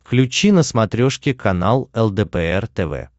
включи на смотрешке канал лдпр тв